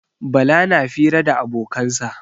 Bala na fira da abokansa.